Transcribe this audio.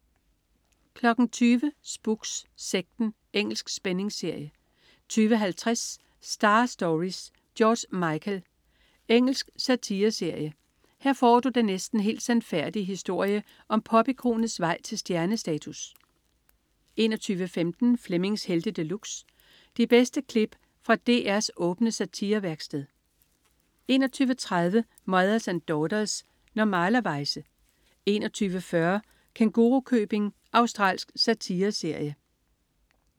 20.00 Spooks: Sekten. Engelsk spændingsserie 20.50 Star Stories: George Michael. Engelsk satireserie. Her får du den næsten helt sandfærdige historie om popikonets vej til stjernestatus 21.15 Flemmings Helte De Luxe. De bedste klip fra DRs åbne satirevæksted 21.30 Mothers and Daughters. Normalerweize 21.40 Kængurukøbing. Australsk satireserie